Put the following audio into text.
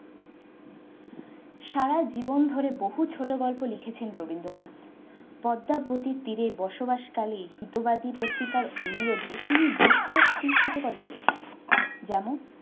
সারা জীবন ধরে বহু ছোট গল্প লিখেছেন রবীন্দ্রনাথ। পদ্মা নদীর তীরে বসবাসকারী উপজাতি পত্রিকার অনুরোধে তিনি বেশ কয়েকটি ছোট গল্প লিখেন। যেমন-